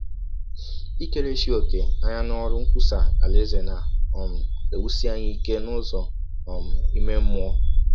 Ikerechi ọ̀kè anya n’ọrụ nkwụsa Alaeze na - um ewụsi anyị ike n’ụzọ um ime mmụọ.